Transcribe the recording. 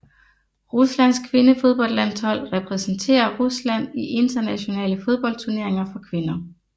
Ruslands kvindefodboldlandshold repræsenterer Rusland i internationale fodboldturneringer for kvinder